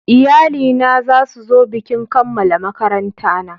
Iyali na za su zo bikin kammala makaranta na